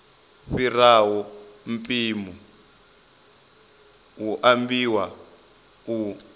fhiraho mpimo hu ambiwa u